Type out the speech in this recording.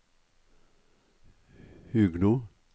Huglo